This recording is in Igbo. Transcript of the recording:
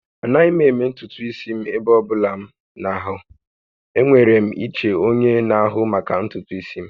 Anaghị m eme ntutu isi m ebe ọ bụla m na-ahụ. Enwere m iche onye na-ahụ maka ntutu isi m